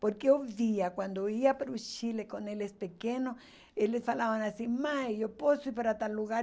Porque eu via, quando eu ia para o Chile com eles pequenos, eles falavam assim, mãe, eu posso ir para tal lugar?